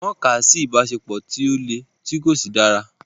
Wọn kà á sí ìbáṣepọ̀ tó lẹ̀ tí kò sì dára.